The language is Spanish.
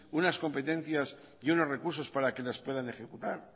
unas competencias y unos recursos para que les puedan ejecutar